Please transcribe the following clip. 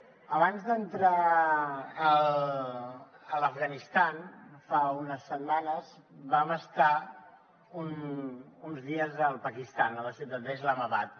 abans d’entrar a l’afganistan fa unes setmanes vam estar uns dies al pakistan a la ciutat d’islamabad